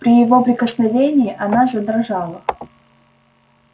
при его прикосновении она задрожала